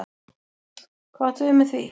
Hvað áttu við með því?